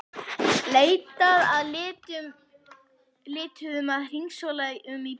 Leitað að lituðum að hringsóla um í bílum.